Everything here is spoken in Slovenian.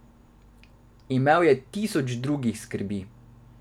Imel je tisoč drugih skrbi.